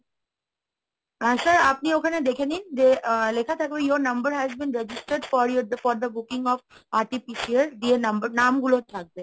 হ্যাঁ sir, হ্যাঁ sir আপনি ওখানে দেখে নিন যে লেখা থাকে your number has been registered for your for the booking of RTPCR দিয়ে number, নামগুলো থাকবে।